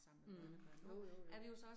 Mh jo jo jo